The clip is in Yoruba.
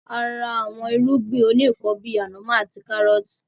A ra àwọn irúgbìn òní ikán bíi ànàmọ́ àti káárọtii